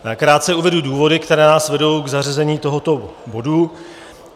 Krátce uvedu důvody, které nás vedou k zařazení tohoto bodu.